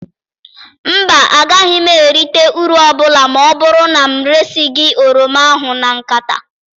Mba, agaghị m erita uru ọbụla ma ọ bụrụ na m eresi gị oroma ahụ na nkata.